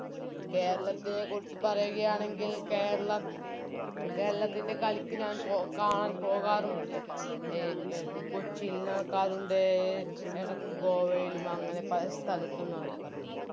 കേരളത്തിനെക്കുറിച്ച് പറയുകയാണെങ്കിൽ കേരളം കേരളത്തിൻറെ കളിക്ക് ഞാൻ പോക കാണാൻ പോകാറുമുണ്ട് അഹ് കൊച്ചിയിൽ നടക്കാറുണ്ട് എടക്ക് ഗോവയിലും അങ്ങനെ പല സ്ഥലത്തും നടക്കാറുണ്ട്